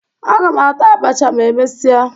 Aga m ata abacha ma e mesịa